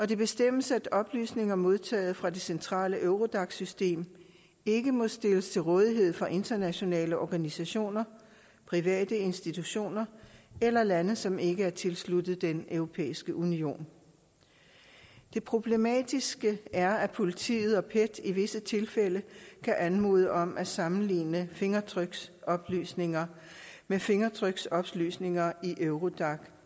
det bestemmes at oplysninger modtaget fra det centrale eurodac system ikke må stilles til rådighed for internationale organisationer private institutioner eller lande som ikke er tilsluttet den europæiske union det problematiske er at politiet og pet i visse tilfælde kan anmode om at sammenligne fingeraftryksoplysninger med fingeraftryksoplysninger i eurodac